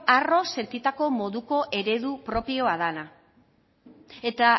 harro sentitako moduko eredu propioa dana eta